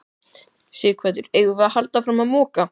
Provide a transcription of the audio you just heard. Sighvatur: Eigum við að halda áfram að moka?